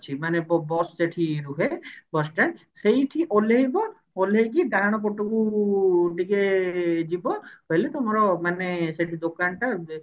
ମାନେ ବ bus ସେଠି ରୁହେ bus stand ସେଇଠି ଓହ୍ଲେଇବ ଓହ୍ଲେଇକି ଡାହାଣ ପଟକୁ ଟିକେ ଯିବ ଗଲେ ତମର ମାନେ ସେଠି ଦୋକାନ ଟା ଏମତି